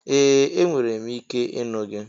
Ee! Enwere m ike ịnụ gị.